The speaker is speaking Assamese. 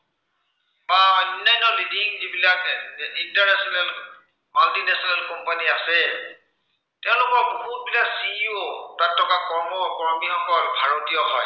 বা অন্য়ান্য leading যিবিলাক international, multinational company আছে, তেওঁলোকৰ বহুতকেইটা CEO বা তাত থকা কৰ্ম, কৰ্মীসকল ভাৰতীয় হয়।